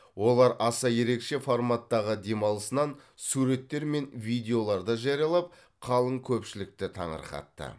олар аса ерекше форматтағы демалысынан суреттер мен видеоларды жариялап қалың көпшілікті таңырқатты